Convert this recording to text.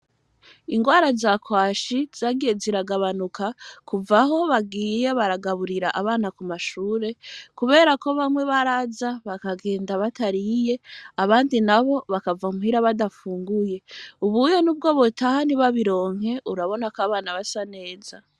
Ingwara za kwashi zagiye ziragabanuka kuvaho bagiye baragaburira abana ku mashure, kubera ko bamwe baraza bakagenda batariye abandi na bo bakava mpwira badafunguye ubuye n' ubwo botaha nibabironke urabonako abana basa neza.